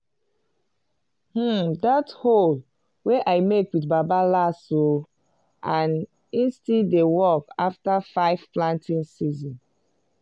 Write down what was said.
hmm that hoe wey i make wit baba last oh and e still dey work after 5 planting season.